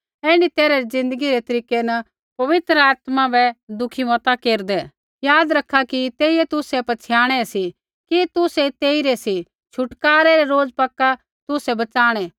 ऐण्ढी तैरहा री ज़िन्दगी रै तरीकै न पवित्र आत्मा बै दुःखी मता केरदै याद रखा कि तेइयै तुसै पछ़ियाणै सी कि तुसै तेइरै सी छुटकारै रै रोज़ पक्का तुसै बचाणै